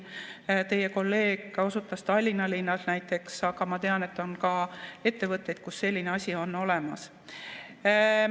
Teie kolleeg osutas Tallinna linnale näiteks, aga ma tean, et on ka ettevõtteid, kus selline asi on olemas.